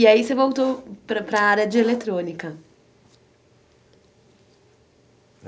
E aí você voltou para para área de eletrônica.